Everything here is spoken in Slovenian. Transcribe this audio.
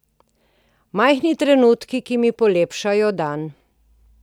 Majhni trenutki, ki mi polepšajo dan.